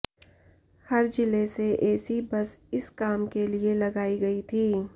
हर जिले से AC bus इस काम के लिए लगाई गई थी